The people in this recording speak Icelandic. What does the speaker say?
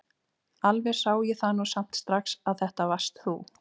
Alveg sá ég það nú samt strax að þetta varst þú!